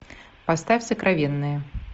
поставь сокровенное